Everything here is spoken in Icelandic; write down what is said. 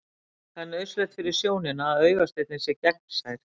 Það er nauðsynlegt fyrir sjónina að augasteininn sé gegnsær.